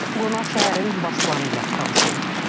Qonaq şəhərin baş planı ilə tanış olub.